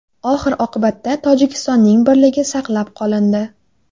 Oxir-oqibatda, Tojikistonning birligi saqlab qolindi.